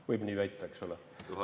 Võib nii väita, eks ole?